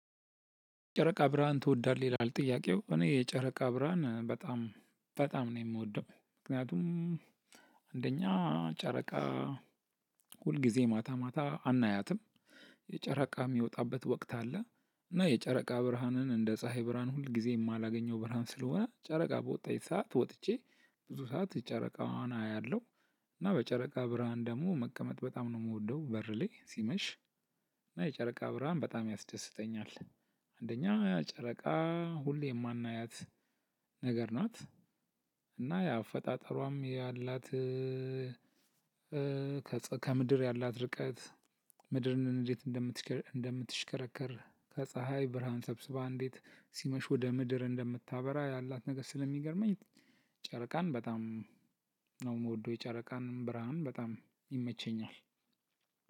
ጨረቃ ብርሃን ትወዳለህ ይላል? ጥያቄው እኔ የጨረቃ ብርሃን በጣም በጣም ነው የምወደው። ምክንያቱም አንደኛ ጨረቃ ሁል ጊዜ ማታ ማታ አናያትም። ጨረቃ የሚወጣበት ወቅት አለ። እና የጨረቃ ብርሃንን እንደ ፀሀይ ብርሃን ሁል ጊዜ የማላገኘው ብርሃን ስለሆነ ጨረቃ በወጣች ሰዓት ወጥቼ ብዙ ሰዓት ጨረቃዋን አያለሁ። እና በጨረቃ ብርሃን ደግሞ መቀመጥ በጣም ነው የምወደው። በር ላይ ሲመሽ። እና የጨረቃ ብርሃን በጣም ያስደስተኛል። አንደኛ ያ ጨረቃ ሁሌ የማናያት ነገር ናት። እና የአፈጣጠሯም ያላት ከምድር ያላት ርቀት። ምድርን እንዴት እንደምትሽከር እንደምትሽከረከር ከፀሀይ ብርሃን ሰብስባ እንዴት ሲመሽ ወደ ምድር እንደምታበራ ያላት ነገር ስለሚገርመኝ። ጨረቃን በጣም ነው የምወደው የጨረቃን ብርሃን በጣም ይመቸኛል።